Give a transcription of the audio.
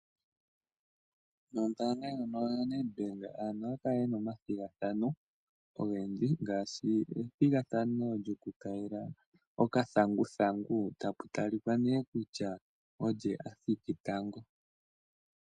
Mombaanga ndjono yoNedbank aantu ohaya kala yena omathigathano ogendji ngaashi ethigathano lyokukayila okathanguthangu, tapu talika ngu athiki tango.